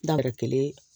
Dabiri kelen